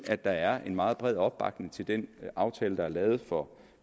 at der er en meget bred opbakning til den aftale der er lavet for